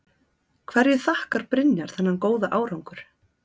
Hverju þakkar Brynjar þennan góða árangur?